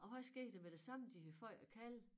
Og hvad sker der med det samme de har fået æ kalve